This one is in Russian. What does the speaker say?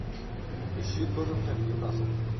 ищи тоттенхэм ньюкасл